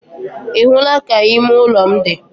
Ị hụla ka ime ụlọ m dị?